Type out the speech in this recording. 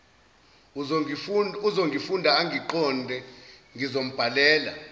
uzongifunda angiqonde ngizombhalela